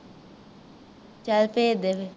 ਚਲ ਭੇਜਦੇ ਫਿਰ